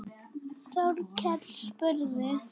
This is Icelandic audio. Þórkell spurði